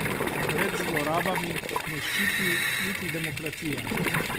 Pred zlorabami ne ščiti niti demokracija.